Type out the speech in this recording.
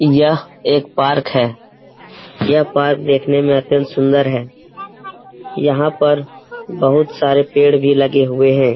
यह एक पार्क है | यह पार्क देखने मे अत्यंत सुन्दर है | यहाँ पर बहुत सारे पेड़ भी लगे हुए हैं |